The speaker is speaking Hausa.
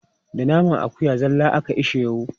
Da naman akuya zalla ake ishewu.